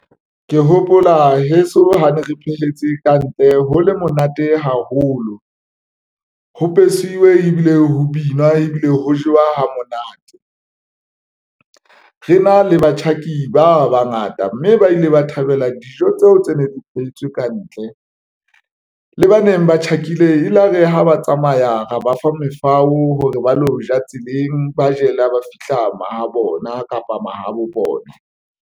Ke hopola heso ha ne re phehetse kantle ho le monate haholo ho besiwe ebile ho binwa ebile ho jewa ha monate. Re na le batjhaki ba bangata, mme ba ile ba thabela dijo tseo tse ne di phehetswe kantle le baneng ba tjhakile e la re ha ba tsamaya, ra ba fa mefao hore ba lo ja tseleng, ba jele ba fihla mahabona kapa mahabo bona.